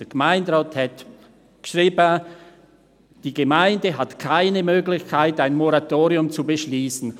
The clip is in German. Der Gemeinderat schrieb: «Die Gemeinde hat keine Möglichkeit, ein Moratorium zu beschliessen.»